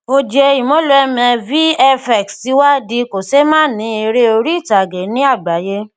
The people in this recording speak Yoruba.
ojie imoloame vfx tí wá di kò ṣe má ní èrè orí itage ni àgbáyé